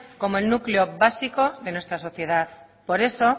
como el núcleo básico de nuestra sociedad por eso